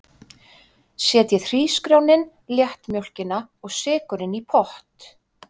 Setjið hrísgrjónin, léttmjólkina og sykurinn í pott.